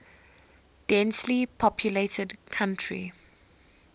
densely populated country